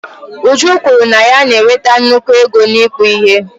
Uju kwuru na ya na-enweta nnukwu ego n'ịkpụ ihe.